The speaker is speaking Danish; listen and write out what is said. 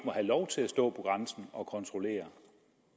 have lov til at stå på grænsen og kontrollere